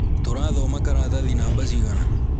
Turathoma karatathi namba cigana?